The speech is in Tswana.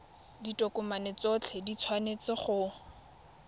ditokomane tsotlhe di tshwanetse go